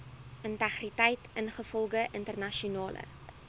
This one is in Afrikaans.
integriteit ingevolge internasionale